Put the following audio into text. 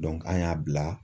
an y'a bila